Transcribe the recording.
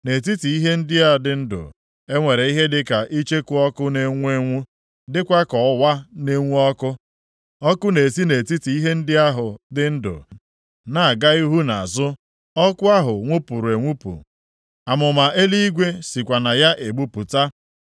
Nʼetiti ihe ndị a dị ndụ, e nwere ihe dịka icheku ọkụ na-enwu enwu, dịkwa ka ọwa na-enwu ọkụ. Ọkụ na-esi nʼetiti ihe ndị ahụ dị ndụ na-aga ihu na azụ, ọkụ ahụ nwupụrụ enwupụ, amụma eluigwe sikwa na ya egbupụta.